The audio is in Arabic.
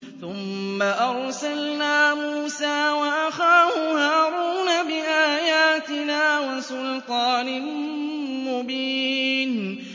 ثُمَّ أَرْسَلْنَا مُوسَىٰ وَأَخَاهُ هَارُونَ بِآيَاتِنَا وَسُلْطَانٍ مُّبِينٍ